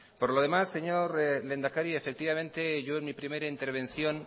por lo demás señor lehendakari efectivamente yo en mi primera intervención